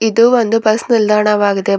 ಇದು ಒಂದು ಬಸ್ ನಿಲ್ದಾಣವಾಗಿದೆ ಬ--